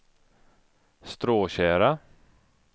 Stråtjära